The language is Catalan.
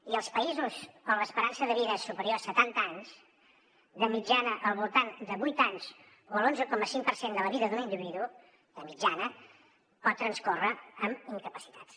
i als països on l’esperança de vida és superior a setanta anys de mitjana al voltant de vuit anys o l’onze coma cinc per cent de la vida d’un individu de mitjana pot transcórrer amb incapacitats